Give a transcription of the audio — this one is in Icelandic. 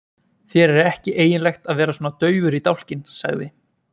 Þér er ekki eiginlegt að vera svona daufur í dálkinn, sagði